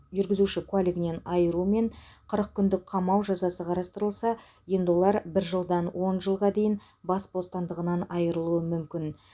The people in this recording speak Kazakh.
жүргізуші куәлігінен айыру мен қырық күндік қамау жазасы қарастырылса енді олар бір жылдан он жылға дейін бас бостандығынан айырылуы мүмкін